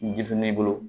Denmisɛnnin bolo